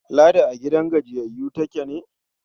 Ladi a gidan gajiyayyu take ne?